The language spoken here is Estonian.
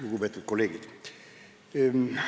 Lugupeetud kolleegid!